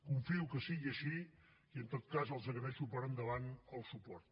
confio que sigui així i en tot cas els agraeixo per endavant el suport